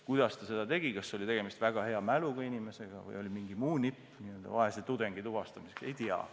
Kuidas see võimalik oli – kas oli tegemist väga hea mäluga inimesega või oli tal mingi muu nipp vaese tudengi tuvastamiseks –, ei tea.